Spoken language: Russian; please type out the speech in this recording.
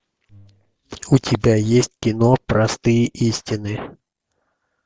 у тебя есть кино простые истины